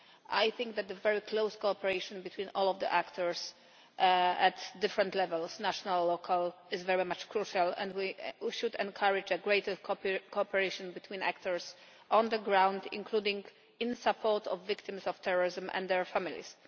I think that the very close cooperation between all of the actors at different levels national and local is very much crucial, and we should encourage greater cooperation between actors on the ground, including in support of victims of terrorism and their families.